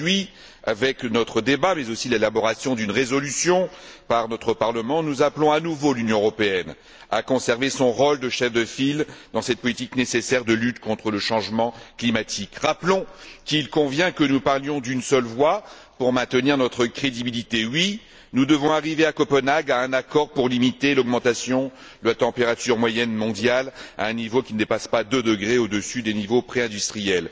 Aujourd'hui, avec notre débat, mais aussi l'élaboration d'une résolution par notre Parlement, nous appelons à nouveau l'Union européenne à conserver son rôle de chef de file dans cette politique nécessaire de lutte contre le changement climatique. Rappelons qu'il convient que nous parlions d'une seule voix pour maintenir notre crédibilité. Oui, nous devons arriver à Copenhague à un accord pour limiter l'augmentation de la température moyenne mondiale à un niveau qui ne dépasse pas 2 degrés au dessus des niveaux préindustriels.